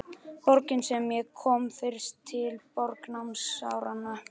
Borgin sem ég kom fyrst til, borg námsáranna.